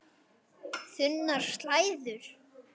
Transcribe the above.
Þunnar slæður.